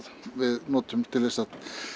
við notum til að